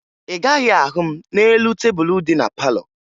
Ị gaghị ahụ m n'elu tebulu dị na palọ